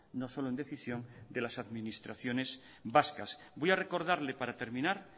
no solo en decisión de las administraciones vascas voy a recordarle para terminar